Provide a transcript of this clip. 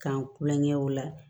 K'an kulonkɛ o la